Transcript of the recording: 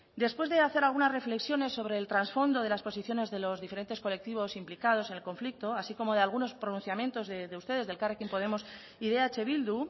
después de hacer algunas reflexiones sobre el trasfondo de las posiciones de los diferentes colectivos implicados en el conflicto así como de algunos pronunciamientos de ustedes de elkarrekin podemos y de eh bildu